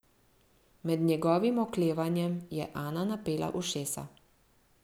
Med njegovim oklevanjem je Ana napela ušesa.